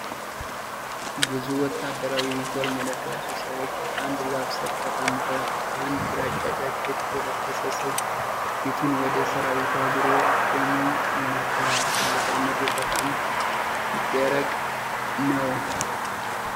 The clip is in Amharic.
ብዙ ወታደራዊ ዩኒፎርም የለበሱ ሰዎች በአንድ ዛፍ ስር ተቀምጠዋል። አንድ ግራጫ ጃኬት የለበሰ ሰው ፊቱን ወደ ሰራዊቱ አዙሮ ቆሞ ይናገራል። መልክዓ ምድሩ በጣም ደረቅ ነው።